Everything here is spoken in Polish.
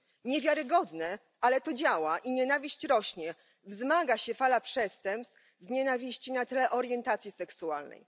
Niewiarygodne, ale to działa i nienawiść rośnie, wzmaga się fala przestępstw z nienawiści na tle orientacji seksualnej.